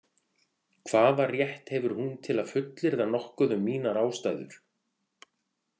Hvaða rétt hefur hún til að fullyrða nokkuð um mínar ástæður?